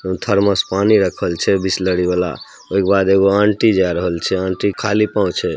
Thermos पानी रखल छै बिसलरी वाला ओय के बाद एगो आंटी जाय रहल छै आंटी खाली पाव छै।